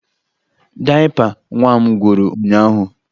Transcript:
Dayịpa nwa m gwụrụ ụnyaahụ